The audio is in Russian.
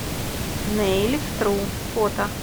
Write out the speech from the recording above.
нэйликтру фото